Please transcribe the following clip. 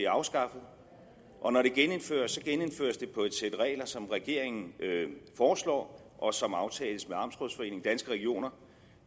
afskaffet og når det genindføres genindføres det på et sæt regler som regeringen foreslår og som aftales med danske regioner